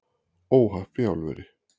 Óhapp í álveri